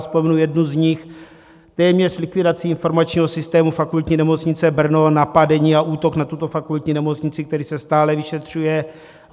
Vzpomenu jednu z nich: téměř likvidaci informačního systému Fakultní nemocnice Brno, napadení a útok na tuto fakultní nemocnici, který se stále vyšetřuje.